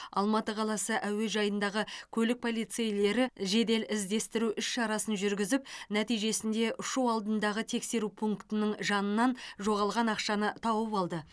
алматы қаласы әуежайындағы көлік полицейлері жедел іздестіру іс шарасын жүргізіп нәтижесінде ұшу алдындағы тексеру пунктінің жанынан жоғалған ақшаны тауып алды